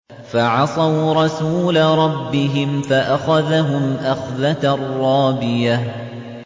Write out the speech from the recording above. فَعَصَوْا رَسُولَ رَبِّهِمْ فَأَخَذَهُمْ أَخْذَةً رَّابِيَةً